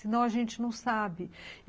Senão a gente não sabe.